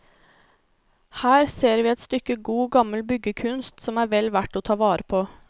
Her ser vi et stykke god, gammel byggekunst som er vel verd å ta vare på.